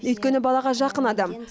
өйткені балаға жақын адам